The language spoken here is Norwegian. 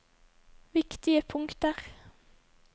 viktige punkter